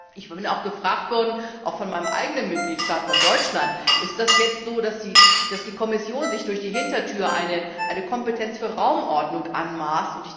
Ich bin auch gefragt worden, auch von meinem eigenen Mitgliedstaat, von Deutschland Ist das jetzt so, dass die Kommission sich durch die Hintertür eine Kompetenz für Raumordnung anmaßt?